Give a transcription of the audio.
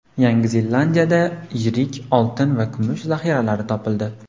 Yangi Zelandiyada yirik oltin va kumush zaxiralari topildi.